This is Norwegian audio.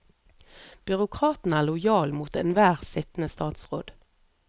Byråkraten er lojal mot enhver sittende statsråd.